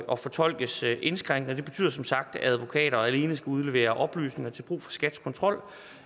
og fortolkes indskrænkende det betyder som sagt at advokater alene skal udlevere oplysninger til brug for skats kontrol